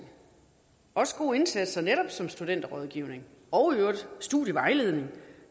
også gode indsatser netop som studenterrådgivning og i øvrigt studievejledning